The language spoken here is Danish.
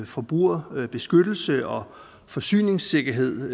forbrugerbeskyttelse og forsyningssikkerhed